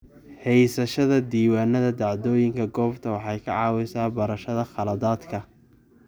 Haysashada diiwaannada dhacdooyinka goobta waxay ka caawisaa barashada khaladaadka.